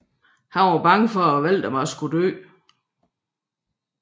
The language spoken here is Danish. Han er bange for at Waldemar skal dør